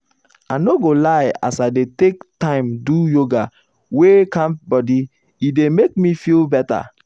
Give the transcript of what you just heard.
i no go lie as i dey take time do yoga wey calm body e dey make me feel better.